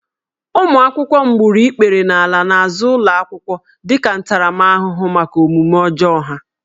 Ụmụ akwụkwọ m gburu ikpere n'ala n'azụ ụlọ akwụkwọ dịka ntaramahụhụ maka omume ọjọọ ha